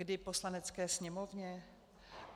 Kdy Poslanecké sněmovně?